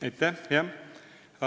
Aitäh!